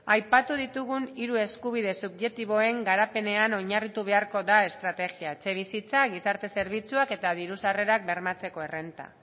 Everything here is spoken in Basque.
aipatu ditugun hiru eskubide subjektiboen garapenean oinarritu beharko da estrategia etxebizitza gizarte zerbitzuak eta diru sarrerak bermatzeko errenta